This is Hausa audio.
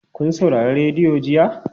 Kun saurari rediyo jiya?